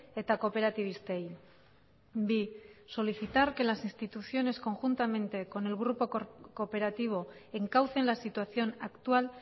eta kooperatibistei bi solicitar que las instituciones conjuntamente con el grupo cooperativo encaucen la situación actual